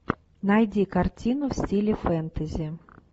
найди картину в стиле фэнтези